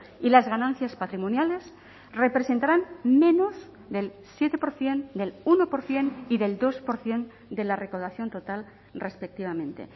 y las ganancias patrimoniales representarán menos del siete por ciento del uno por ciento y del dos por ciento de la recaudación total respectivamente